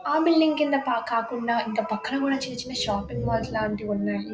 ఆ బిల్డింగ్స్ కింద కా కాకుండా ఇంకా పక్కన కూడా చిన్న చిన్న షాపింగ్ మాల్స్ లాంటివి ఉన్నాయి.